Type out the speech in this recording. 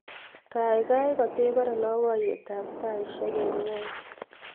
kaigai katebore loboiyet abtaisiek en nyweny